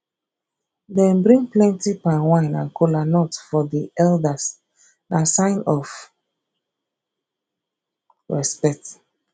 dem bring plenty palmwine and kola nut for di elders na sign of respect